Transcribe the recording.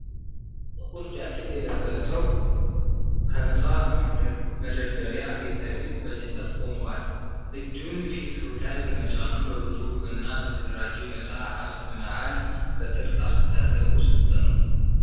ጥቁር ጃኬት የለበሰ ሰው ከመጽሐፍ መደርደሪያ ፊት ለፊት በጭንቀት ቆሟል። እጁን ፊቱ ላይ በመጫኑ በብዙ ውብና በተደራጁ መጽሐፍት መሃል በጥልቅ አስተሳሰብ ውስጥ ነው።